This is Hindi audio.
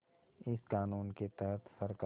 इस क़ानून के तहत सरकार